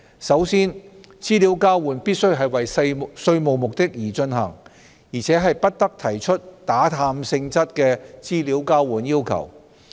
首先，資料交換必須為稅務目的而進行，而且不得提出打探性質的資料交換要求。